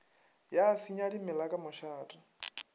ya senya dimela ka mošate